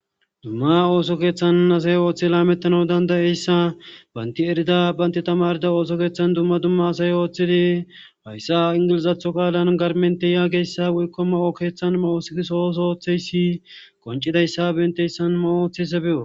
Dumma ooso keeththan asay ooththi laamettana dandayeyssa baynti erida baynti tamarida ooso keeththan dumma dumma asay ooththidi hayssa ingilizatho kaalan garmente yaageyssa woykko ma'o keeththan mawoosiisooso ooththeyssi qoncidayssa benteyssan ma'o ooththese be'o